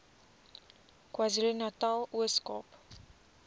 kwazulunatal ooskaap